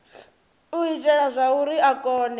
u itela zwauri a kone